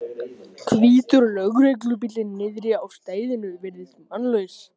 Hvítur lögreglubíllinn niðri á stæðinu virðist mannlaus.